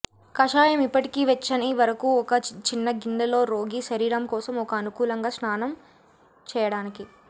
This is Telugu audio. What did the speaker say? కషాయం ఇప్పటికీ వెచ్చని వరకు ఒక చిన్న గిన్నె లో రోగి శరీరం కోసం ఒక అనుకూలంగా స్నాన చేయడానికి